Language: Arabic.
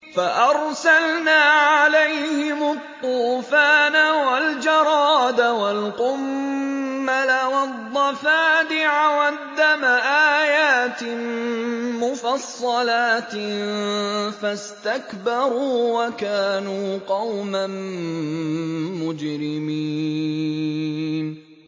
فَأَرْسَلْنَا عَلَيْهِمُ الطُّوفَانَ وَالْجَرَادَ وَالْقُمَّلَ وَالضَّفَادِعَ وَالدَّمَ آيَاتٍ مُّفَصَّلَاتٍ فَاسْتَكْبَرُوا وَكَانُوا قَوْمًا مُّجْرِمِينَ